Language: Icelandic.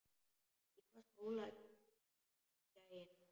Í hvaða skóla er gæinn?